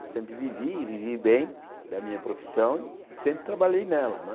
Eu sempre vivi e vivi bem da minha profissão e sempre trabalhei nela né.